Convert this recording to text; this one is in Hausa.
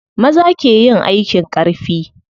Maza ke yin aikin ƙarfi.